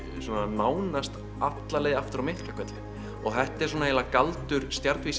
svona nánast alla leið aftur að Miklahvelli og þetta er svona eiginlega galdur